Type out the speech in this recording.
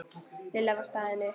Lilla var staðin upp.